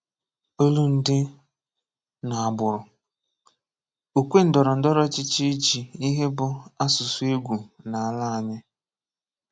Olụndị nà àgbụrụ; òkwè ndọrọndọrọ ọchịchị e jị ìhè bụ àsụsụ égwù n’alà ányị.